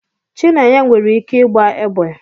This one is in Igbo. Chinenye nwere ike igba egbe